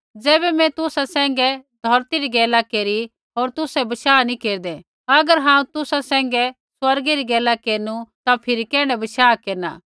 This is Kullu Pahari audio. ज़ैबै मैं तुसा सैंघैं धौरती री गैला केरी होर तुसै बशाह नी केरदै अगर हांऊँ तुसा सैंघै स्वर्गै री गैला केरनु ता फिरी कैण्ढा बशाह केरना